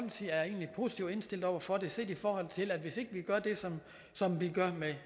positivt indstillet over for det set i forhold til at hvis ikke vi gør det som som vi gør med